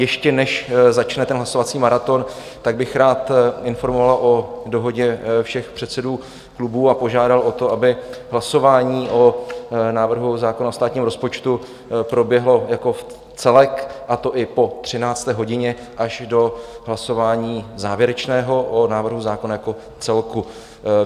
Ještě než začne ten hlasovací maraton, tak bych rád informoval o dohodě všech předsedů klubů a požádal o to, aby hlasování o návrhu zákona o státním rozpočtu proběhlo jako celek, a to i po 13. hodině až do hlasování závěrečného o návrhu zákona jako celku.